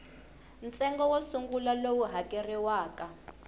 ntsengo wo sungula lowu hakeriwaka